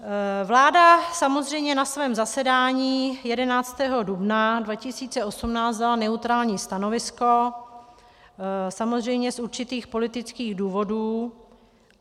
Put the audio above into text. Vláda samozřejmě na svém zasedání 11. dubna 2018 dala neutrální stanovisko, samozřejmě z určitých politických důvodů.